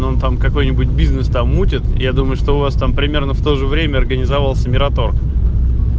он там какой-нибудь бизнес там мутит я думаю что у вас там примерно в то же время организовался мираторг